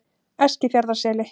Eskifjarðarseli